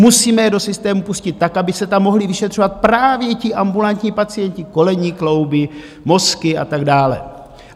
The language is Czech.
Musíme je do systému pustit tak, aby se tam mohli vyšetřovat právě ti ambulantní pacienti - kolenní klouby, mozky a tak dále.